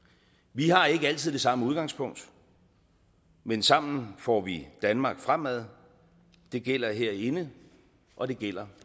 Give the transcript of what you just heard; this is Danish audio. vi har ikke altid det samme udgangspunkt men sammen får vi danmark fremad det gælder herinde og det gælder